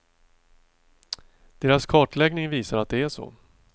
Deras kartläggning visar att det är så.